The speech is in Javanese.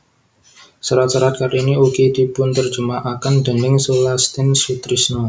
Serat serat Kartini ugi dipunterjemahaken déning Sulastin Sutrisno